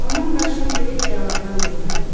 Onun başını böyük bəladan qurtardı.